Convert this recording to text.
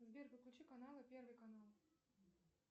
сбер подключи каналы первый канал